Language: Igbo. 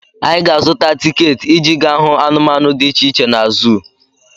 Anyị ga-azụta tiketi iji gaa hụ anụmanụ dị iche iche na zuu.